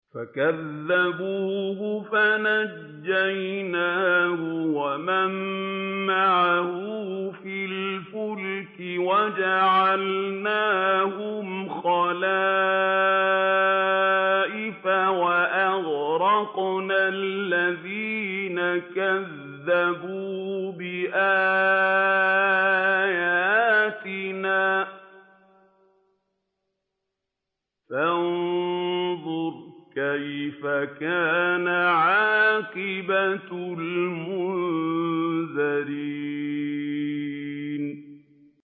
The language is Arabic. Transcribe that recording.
فَكَذَّبُوهُ فَنَجَّيْنَاهُ وَمَن مَّعَهُ فِي الْفُلْكِ وَجَعَلْنَاهُمْ خَلَائِفَ وَأَغْرَقْنَا الَّذِينَ كَذَّبُوا بِآيَاتِنَا ۖ فَانظُرْ كَيْفَ كَانَ عَاقِبَةُ الْمُنذَرِينَ